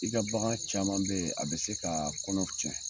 I ka bagan caman bɛ yen a bɛ se ka kɔnɔw tiɲɛ.